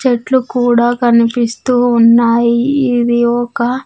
చెట్లు కూడా కనిపిస్తూ ఉన్నాయి ఇది ఒక--